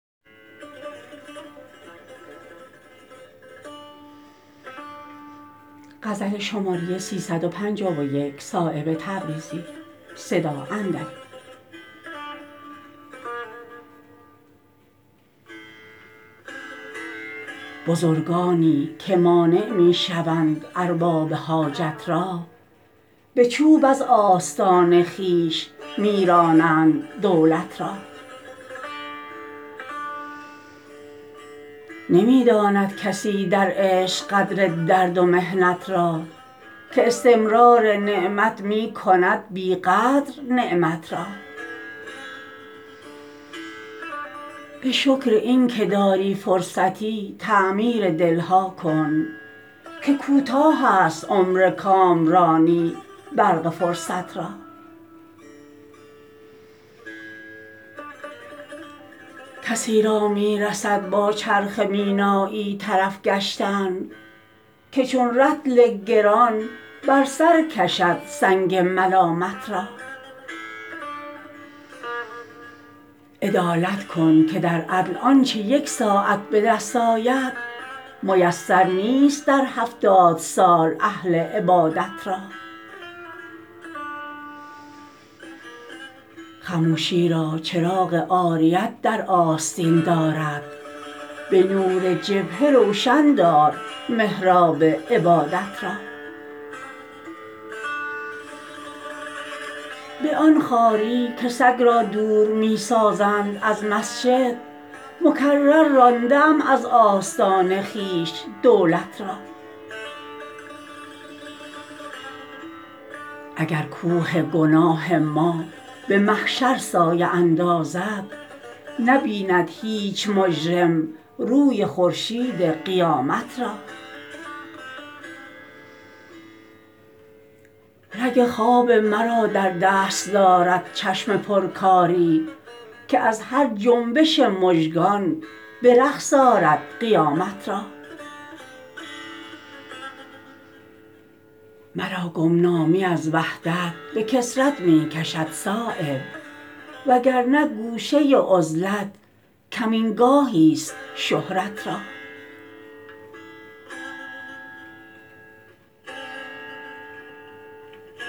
بزرگانی که مانع می شوند ارباب حاجت را به چوب از آستان خویش می رانند دولت را نمی داند کسی در عشق قدر درد و محنت را که استمرار نعمت می کند بی قدر نعمت را به شکر این که داری فرصتی تعمیر دلها کن که کوتاه است عمر کامرانی برق فرصت را کسی را می رسد با چرخ مینایی طرف گشتن که چون رطل گران بر سر کشد سنگ ملامت را عدالت کن که در عدل آنچه یک ساعت به دست آید میسر نیست در هفتاد سال اهل عبادت را خموشی را چراغ عاریت در آستین دارد به نور جبهه روشن دار محراب عبادت را به آن خواری که سگ را دور می سازند از مسجد مکرر رانده ام از آستان خویش دولت را اگر کوه گناه ما به محشر سایه اندازد نبیند هیچ مجرم روی خورشید قیامت را رگ خواب مرا در دست دارد چشم پر کاری که از هر جنبش مژگان به رقص آرد قیامت را مرا گمنامی از وحدت به کثرت می کشد صایب وگرنه گوشه عزلت کمینگاهی است شهرت را